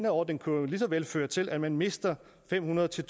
ordning jo lige så vel kunne føre til at man mister fem hundrede til